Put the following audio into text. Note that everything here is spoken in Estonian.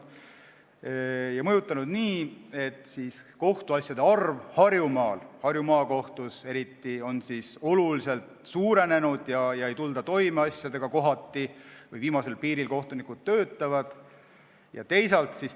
See on mõjutanud nii, et kohtuasjade arv Harjumaal, Harju Maakohtus eriti, on oluliselt suurenenud ja kohati ei tulda asjadega toime, kohtunikud töötavad viimasel piiril.